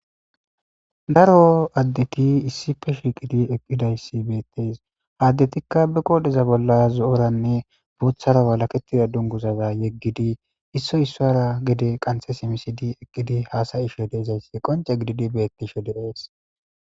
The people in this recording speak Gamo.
Daro addeti issife shiqidi eqqidayssi beettes addetikka bi qoodheza bolla zo'oranne booththara walaketida dunguzaza yeggidi isso issoara gede qanthe simisidi eqqidi haasayishe deezayssi qonce gididi beettishe direes.